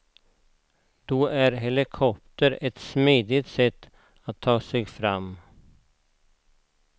Då är helikopter ett smidigt sätt att ta sig fram.